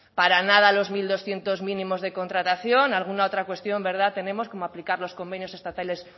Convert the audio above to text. para nada los mil doscientos mínimos de contratación alguna otra cuestión verdad tenemos como aplicar los convenios